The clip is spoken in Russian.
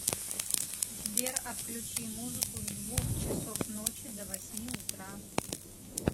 сбер отключи музыку с двух часов ночи до восьми утра